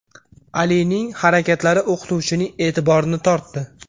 Alining harakatlari o‘qituvchining e’tiborini tortdi.